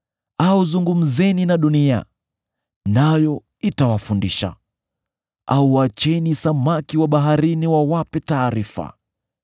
au zungumzeni na dunia, nayo itawafundisha, au acheni samaki wa baharini wawape taarifa.